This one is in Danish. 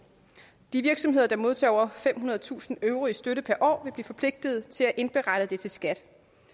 de virksomheder der modtager over femhundredetusind euro i støtte per år vil blive forpligtet til at indberette det til skat